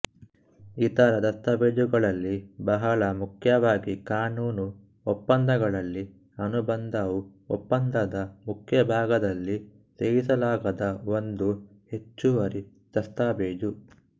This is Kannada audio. ಇತರ ದಸ್ತಾವೇಜುಗಳಲ್ಲಿ ಬಹಳ ಮುಖ್ಯವಾಗಿ ಕಾನೂನು ಒಪ್ಪಂದಗಳಲ್ಲಿ ಅನುಬಂಧವು ಒಪ್ಪಂದದ ಮುಖ್ಯ ಭಾಗದಲ್ಲಿ ಸೇರಿಸಲಾಗದ ಒಂದು ಹೆಚ್ಚುವರಿ ದಸ್ತಾವೇಜು